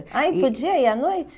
Ah, e podia ir à noite?